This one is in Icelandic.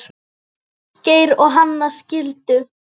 Ásgeir og Hanna skildu.